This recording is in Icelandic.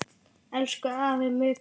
Elsku afi Muggur.